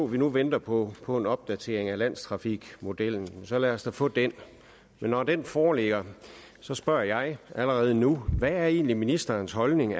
vi nu venter på på en opdatering af landstrafikmodellen så lad os da få den men når den foreligger så spørger jeg allerede nu hvad er egentlig ministerens holdning